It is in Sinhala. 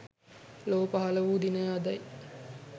ලොව පහළ වූ දිනය අදයි.